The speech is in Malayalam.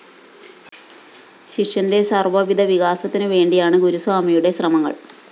ശിഷ്യന്റെ സര്‍വ്വവിധ വികാസത്തിനു വേണ്ടിയാണ് ഗുരുസ്വാമിയുടെ ശ്രമങ്ങള്‍